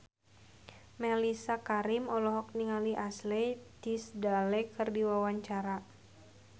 Mellisa Karim olohok ningali Ashley Tisdale keur diwawancara